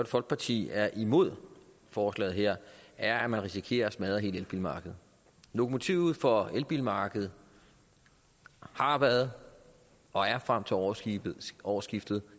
folkeparti er imod forslaget her er at man risikerer at smadre hele elbilmarkedet lokomotivet for elbilmarkedet har været og er frem til årsskiftet årsskiftet